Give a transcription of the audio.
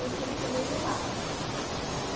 E eu tive que dormir lá.